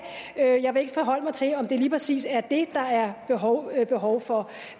jeg vil ikke forholde mig til om det lige præcis er det der er behov er behov for